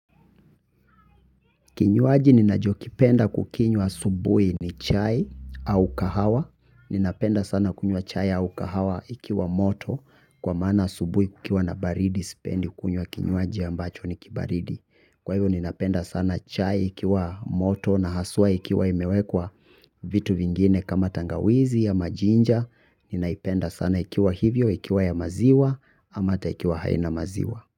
Kinywaji ninachokipenda kukinywa asubuhi ni chai au kahawa. Ninapenda sana kunywa chai au kahawa ikiwa moto kwa maana asubuhi kukiwa na baridi sipendi kunywa kinywaji ambacho ni kibaridi. Kwa hivyo ninapenda sana chai ikiwa moto na haswaa ikiwa imewekwa vitu vingine kama tangawizi ama ginger. Ninaipenda sana ikiwa hivyo ikiwa ya maziwa ama hata ikiwa haina maziwa.